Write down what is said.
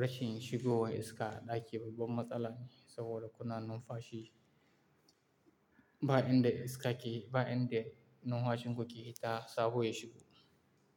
rashin shigowan iska ɗaki babban matsala ne saboda kuna numfashi ba inda iska ke, ba inda numfashin ku ke hita saboda ya shigo.